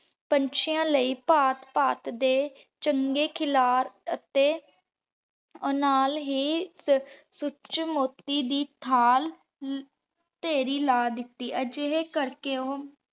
ਪੰਚਿਯਾਂ ਲੈ ਚੰਗੇ ਖਿਲਾਰ ਅਤੀ ਨਾਲ ਹੀ ਸੂਚੀ ਮੋਤੀ ਦੀ ਥਾਲ ਢੇਰੀ ਲਾ ਦਿਤੀ ਆ ਜੇਡੀ ਕਰ ਕੇ ਹਨ